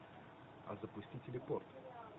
а запусти телепорт